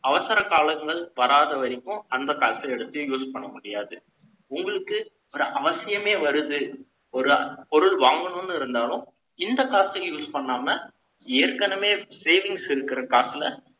அவசர காலங்கள் வராத வரைக்கும், அந்த காசை எடுத்து use பண்ண முடியாது. உங்களுக்கு ஒரு அவசியமே வருது ஒரு பொருள் வாங்கணும்னு இருந்தாலும், இந்த காசு use பண்ணாம, ஏற்கனவே savings இருக்கிற காசுல,